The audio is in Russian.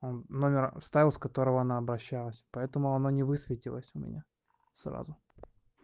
он номер вставил с которого она обращалась поэтому оно не высветилось у меня сразу